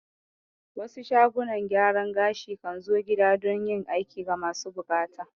Wasu shagunan gyaran gashi kan zo gida don yin aiki ga masu buƙata